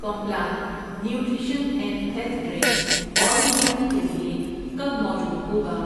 Complan nutrition and health drink order کرنے کے لیے کب موجود ہوگا؟